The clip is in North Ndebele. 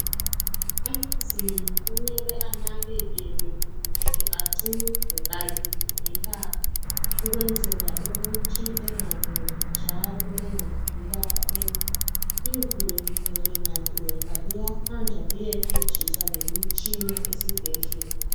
Amazinyo kumele anakekelwe kuhle axujwe kabili ngelanga ukwenzela ukuthi engaboli njalo engaxegi kakhulu, izinyo lingaxega liyahanjwa liyekhitshiswa ngemitshina esibhedlela.